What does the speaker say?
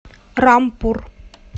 рампур